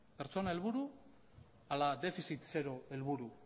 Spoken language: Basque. pertsona helburu ala defizit zero helburu